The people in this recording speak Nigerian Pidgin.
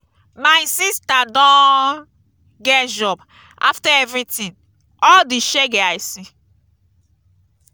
my sister don get job after everything all the shege i see.